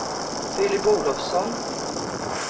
Filip Olofsson